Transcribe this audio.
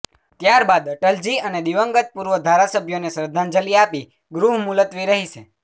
ત્યાર બાદ અટલજી અને દિવંગત પૂર્વ ધારાસભ્યોને શ્રધ્ધાંજલી આપી ગૃહ મુલત્વી રહેશે